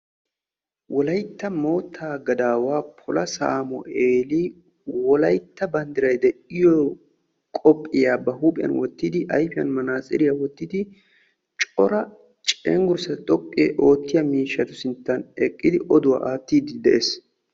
Wolaytta mootta gadawaa pola sameelli wolaytta banddiray de'iyo qobbiya wottiddiobduwa aattiddi de'ees.